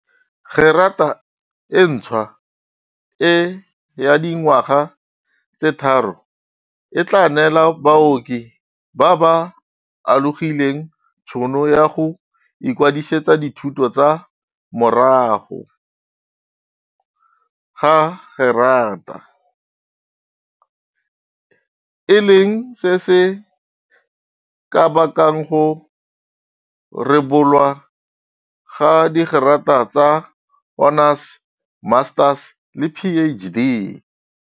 Gerata e ntšhwa e ya dingwaga tse tharo e tla neela baoki ba ba alogileng tšhono ya go ikwadisetsa dithuto tsa morago ga gerata, e leng se se ka bakang go rebolwa ga digerata tsa honours, masters le PhD.